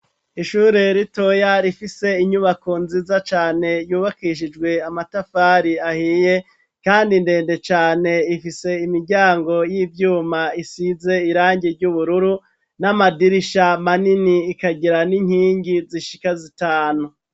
Ishure ritoya, rifise inyubako nziza cane, yubakishijwe amatafari ahiye, kandi ndende cane; ifise imiryango y'ivyuma, isize irangi ry'ubururu, n'amadirisha manini, ikagira n'inkingi zishika zitanu.